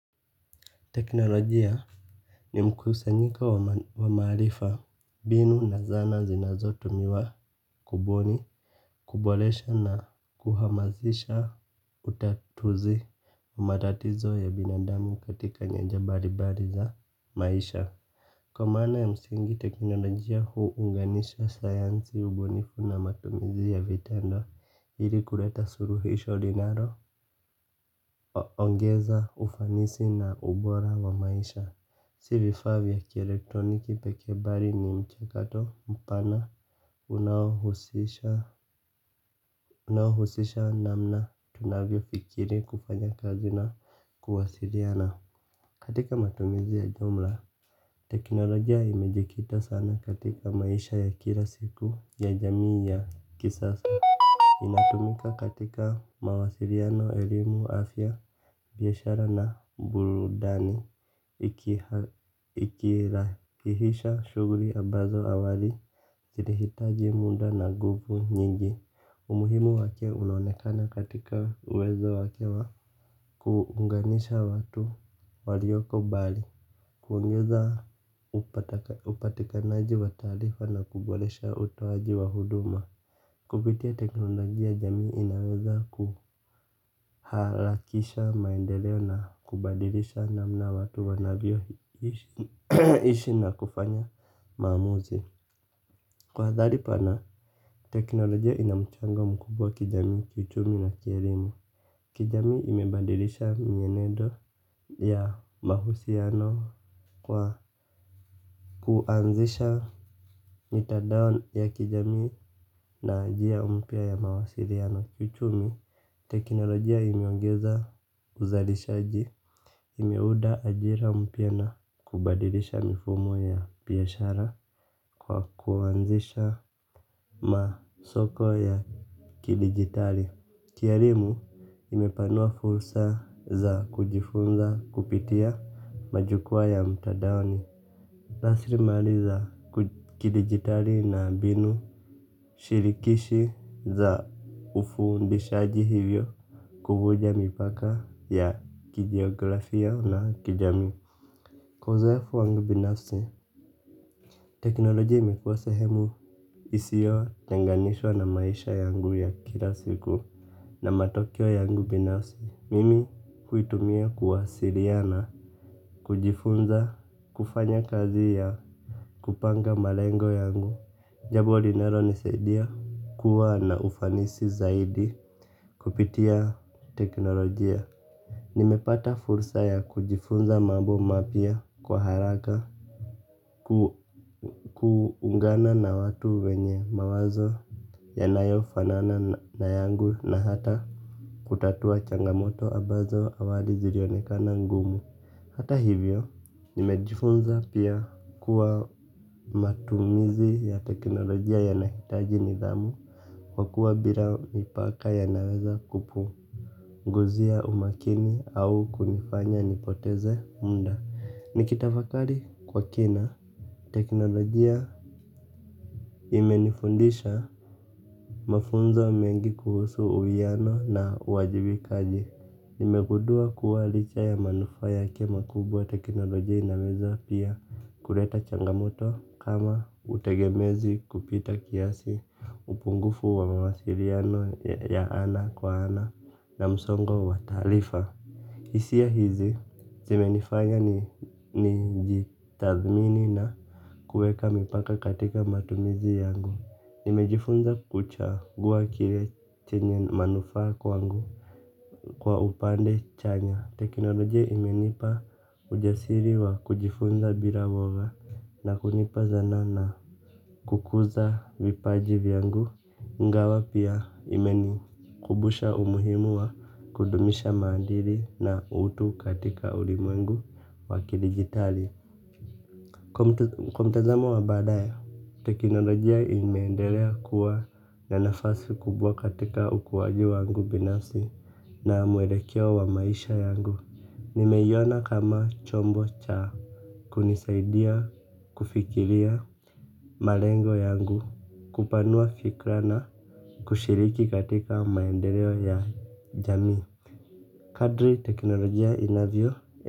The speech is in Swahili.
Teknolojia ni mkusanyiko wa maarifa mbinu na zana zinazo tumiwa kubuni, kuboresha na kuhamazisha utatuzi matatizo ya binadami katika nyaja mbalimbali za maisha. Kwa maana ya msingi teknolojia hu unganisha sayansi ubunifu na matumizi ya vitendo ili kuleta suluhisho linalo ongeza ufanisi na ubora wa maisha. Si vifaa vya kielektroniki pekee bali ni mchakato mpana unao unaohusisha namna tunavyo fikiri kufanya kazi na kuwasiliana. Katika matumizi ya jumla, teknolojia imejikita sana katika maisha ya kila siku ya jamii ya kisasa. Inatumika katika mawasiliano, elimu, afya, biashara na burudani, ikirahisisha shughuli ambazo awali kilihitaji muda na nguvu nyingi. Umuhimu wake unaonekana katika uwezo wake wa kuunganisha watu walioko mbali kuongeza upatikanaji wa taarifa na kuboresha utowaji wa huduma. Kupitia teknolojia jamii inaweza kuharakisha maendeleo na kubadilisha namna watu wanavyo ishi na kufanya maamuzi kwa hadhali pana teknolojia ina mchango mkubwa kijamii kiuchumi na kielimu. Kijamii imebadilisha mienendo ya mahusiano kwa kuanzisha mitandao ya kijamii na njia mpya ya mawasiliano kiuchumi, teknolojia imeongeza uzalishaji, imeunda ajira mpya na kubadilisha mifumo ya biashara kwa kuanzisha masoko ya kidijitali. Kielimu, imepanua fursa za kujifunza kupitia majukwaa ya mtandaoni. Raslimali za kidijitali na mbinu shirikishi za ufundishaji hivyo kuvunja mipaka ya kijiografia na kijamii uzoefu wangu binafsi teknolojia imekuwa sehemu isiyo changanishwa na maisha yangu ya kila siku na matokeo yangu binafsi. Mimi huitumia kuwasiliana, kujifunza, kufanya kazi ya kupanga malengo yangu jambo linalo nisaidia kuwa na ufanisi zaidi kupitia teknolojia. Nimepata fursa ya kujifunza mambo mapya kwa haraka. Ku ungana na watu wenye mawazo yanayofanana na yangu na hata kutatua changamoto ambazo awali zilionekana ngumu. Hata hivyo nimejifunza pia kuwa matumizi ya teknolojia yanahitaji nidhamu. Kwa kuwa bila mipaka yanaweza guzia umakini au kunifanya nipoteze muda. Nikitafakari kwa kina teknolojia imenifundisha mafunzo mengi kuhusu uwiano na wajibikaji nimegundua kuwa licha ya manufaa yake makubwa teknolojia inaweza pia kuleta changamoto kama utegemezi kupita kiasi upungufu wa mawasiliano ya ana kwa ana na msongo wa taarifa. Hisia hizi zime nifanya ni jitathmini na kuweka mipaka katika matumizi yangu. Nimejifunza kuchagua kile chenye manufaa kwangu kwa upande chanya teknolojia imenipa ujasiri wa kujifunza bila woga na kunipa zana na kukuza vipaji vyangu ingawa pia imenikumbusha umuhimu wa kudumisha maadili na utu katika ulimwengu wa kidijitali. Kwa mtazamo wa badaya, teknolojia imeendelea kuwa na nafasi kubwa katika ukuwaji wangu binafsi na mwelekeo wa maisha yangu. Nimeiona kama chombo cha kunisaidia kufikiria malengo yangu kupanua fikra na kushiriki katika maendeleo ya jamii. Kadri teknolojia inavyo.